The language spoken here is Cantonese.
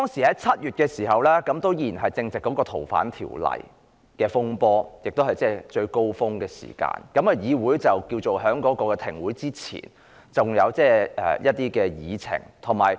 在7月時正值《逃犯條例》的風波出現，當時亦是最高峰的時候，而議會在停止開會之前仍有一些議程。